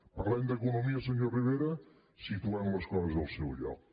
parlem d’economia senyor rivera situem les coses al seu lloc